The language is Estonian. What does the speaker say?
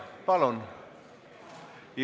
Palun!